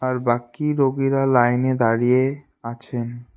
আর বাকি রোগীরা লাইনে দাঁড়িয়ে আছেন।